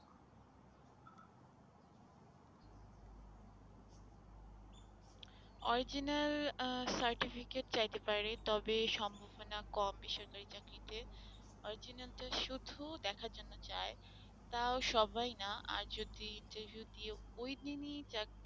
Original uh certificate চাইতে পারে তবে সম্ভাবনা কম বেসরকারী চাকরীতে original টা শুধু দেখার জন্য চাই তাও সবাই নয় আর যদি review দিয়ে ওই দিনই চাকরি,